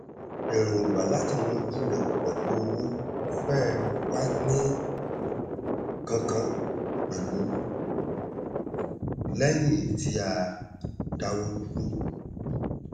èròngbà láti yanjú rẹ pẹlú owó fẹẹ wá ní kánkán lẹyìn tí a dáwọ dúró